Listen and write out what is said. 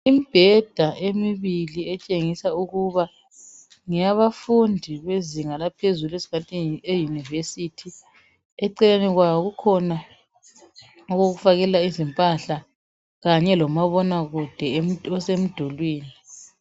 Imibheda emibili etshengisa ukuba ngeyabafundi bezinga laphezulu esingathi yiYunivesi. Eceleni kwabo kukhona okokufakela izimpahla kanye lomabonakude osemdulwini.